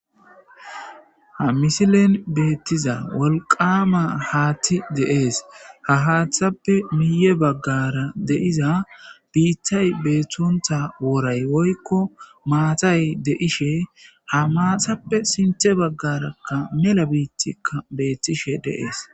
Ha misilen beettiza wolqama haatti deees ha haaththappe miye baggara deiza biiththay beettonta woray woykko maatay deishe ha maathappe sinthe baggarakka mela biittikka beettishe deees